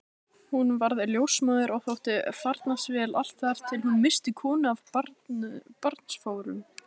Hún varð ljósmóðir og þótti farnast vel allt þar til hún missti konu af barnsförum.